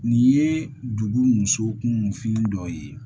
Nin ye dugu muso kun fini dɔ ye